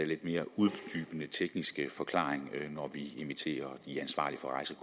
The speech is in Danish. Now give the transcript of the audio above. lidt mere uddybende tekniske forklaring når vi inviterer de ansvarlige for